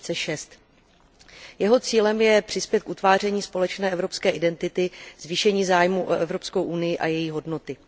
2006. Jeho cílem je přispět k utváření společné evropské identity, zvýšení zájmu o Evropskou unii a její hodnoty.